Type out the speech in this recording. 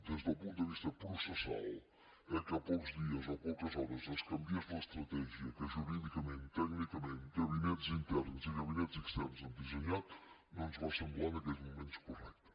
des del punt de vista processal eh que a pocs dies o poques hores es canviés l’estratègia que jurídicament tècnicament gabinets interns i gabinets externs han dissenyat no ens va semblar en aquells moments correcte